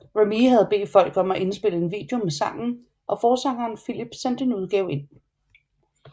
Remee havde bedt folk om at indspille en video med sangen og forsangeren Phillip sendte en udgave ind